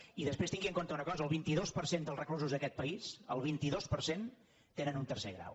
i després tingui en compte una cosa el vint dos per cent dels reclusos d’aquest país el vint dos per cent tenen un tercer grau